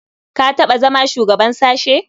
Ka taɓa zama shugaban sashe?